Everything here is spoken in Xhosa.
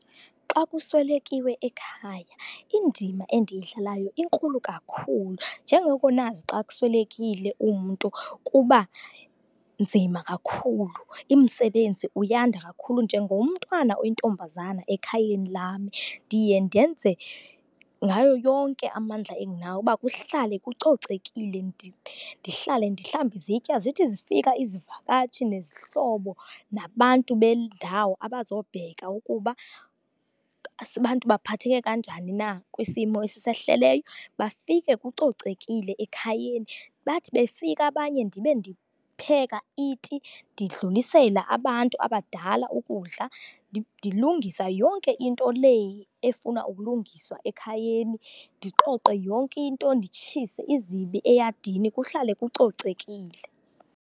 Xa kuswelekiwe ekhaya indima endiyidlalayo inkulu kakhulu. Njengoko nazi xa kuswelekile umntu, kuba nzima kakhulu, umsebenzi uyanda kakhulu. Njengomntwana oyintombazane ekhayeni lami, ndiye ndenze ngayo yonke amandla endinawo ukuba kuhlale kucocekile. ndihlale ndihlambe izitya, zithi zifika izivakatshi nezihlobo nabantu bendawo abazobheka ukuba abantu baphatheke kanjani na kwisimo esisehleleyo, bafike kucocekile ekhayeni. Bathi befika abanye ndibe ndipheka iti, ndidlulisela abantu abadala ukudla. ndilungisa yonke into le efuna ukulungiswa ekhayeni, ndiqoqe yonke into, nditshise izibi eyadini kuhlale kucocekile.